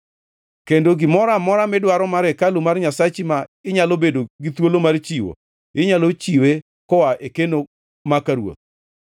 Kendo gimoro amora midwaro mar hekalu mar Nyasachi ma inyalo bedo gi thuolo mar chiwo, inyalo chiwe koa e keno ma ka ruoth.